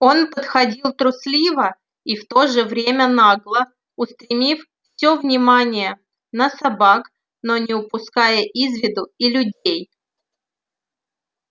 он подходил трусливо и в то же время нагло устремив все внимание на собак но не упуская из виду и людей